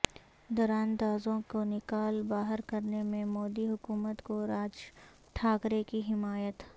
دراندازوں کو نکال باہر کرنے میں مودی حکومت کو راج ٹھاکرے کی حمایت